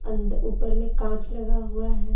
अंदर ऊपर में कांच लगा हुआ है।